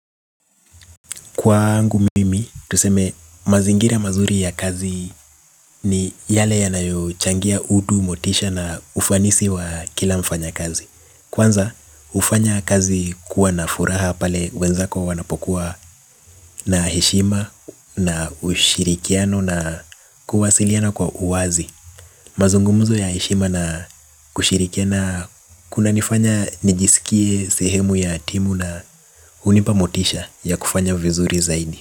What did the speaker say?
Kwangu mimi tuseme mazingira mazuri ya kazi ni yale yanayo changia utu motisha na ufanisi wa kila mfanya kazi. Kwanza ufanya kazi kuwa na furaha pale wenzako wanapokuwa na heshima na ushirikiano na kuwasiliana kwa uwazi. Mazungumzo ya heshima na kushirikiana kuna nifanya nijisikie sehemu ya timu na hunipa motisha ya kufanya vizuri zaidi.